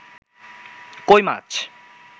কৈ মাছ